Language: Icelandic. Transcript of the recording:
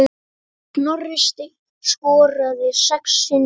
Snorri Steinn skoraði sex sinnum.